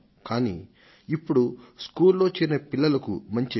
కానీ ఇప్పుడు స్కూలులో చేరిన పిల్లలకు మంచి విద్య